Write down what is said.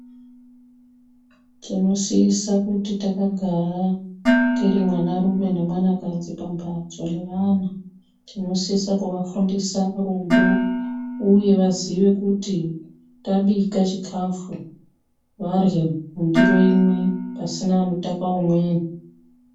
Tinosise kuti takagara tiri mwanarume nemwanakadzi pamhatso nevana. Tinosise kuvafundisa rudo uye vaziye kuti kana tabike chikafu vadyre mundiro imwe pasina unotaka umweni.